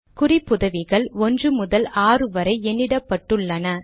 குறிப்புதவிகள் ஒன்று முதல் ஆறு வரை எண்ணிடப்பட்டுள்ளன